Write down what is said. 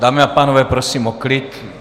Dámy a pánové, prosím o klid.